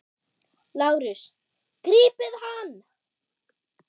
LÁRUS: Grípið hann!